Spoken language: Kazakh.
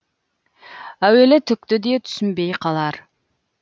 әуелі түкті де түсінбей қалар